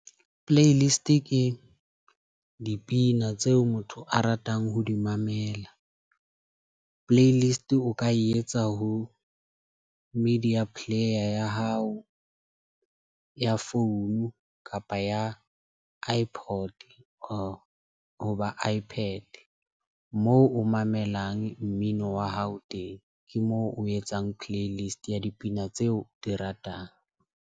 Playlist ke dipina tseo motho a ratang ho di mamela. Playlist o ka etsa ho media player ya hao, ya founu kapa ya iPod hoba iPad moo o mamelang mmino wa hao teng ke moo o etsang playlist ya dipina tseo di ratang.